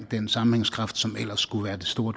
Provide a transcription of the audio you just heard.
den sammenhængskraft som ellers skulle være det store